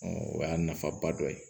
o y'a nafaba dɔ ye